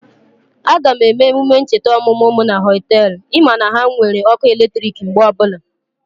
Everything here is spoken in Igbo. Aga m eme emume ncheta ọmụmụ mụ na Họtelụ, ị ma na ha nwere ọkụ eletrik mgbe ọbụla